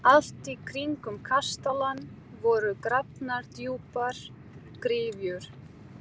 Allt í kringum kastalann voru grafnar djúpar gryfjur.